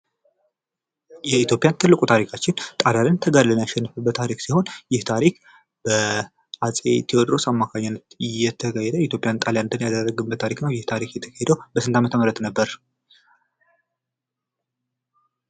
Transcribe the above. የኢትዮጵያ ትልቁ ታሪካችን ጣሊያንን ተጋድለን ያሸነፍንበት ታሪክ ሲሆን ይህ ታሪክ በአፄ ቴወድሮስ አማካኝነት የተካሄደ ኢትዮጵያውያን ጣሊያንን ድል ያደረግንበት ታሪክ ነው። ይህ ታሪክ የተካሄደው በስንት አመተምህረት ነበር?